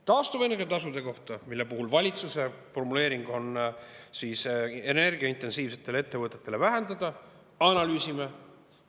Taastuvenergia tasude kohta, mille puhul valitsuse formuleering on, et energiaintensiivsetele ettevõtetele vähendada: analüüsime.